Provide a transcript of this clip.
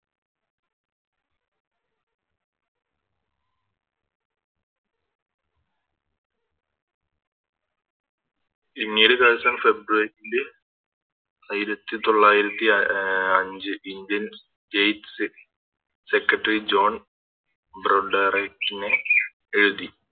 ഒരു ദിവസം February യില് ആയിരത്തി തൊള്ളായിരത്തി അഹ് അഞ്ച് Indian states secretary John Broderick നെ എഴുതി